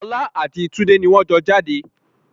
Ọlá àti tunde ni wọn jọ jáde